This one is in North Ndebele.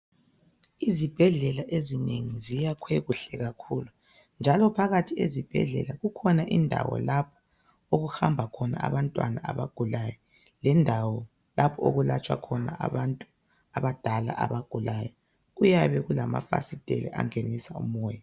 Izibhedlela ezinengi ziyakhwe kuhle kakhulu njalo phakathi ezibhedlela kukhona indawo lapho okuhamba khona abantwana abagulayo. Lendawo lapha okulatshwa khona abantu abadala abagulayo. Kuyabe kulamafasitela angenisa umoya.